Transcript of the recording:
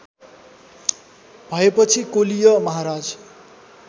भएपछि कोलीय महाराज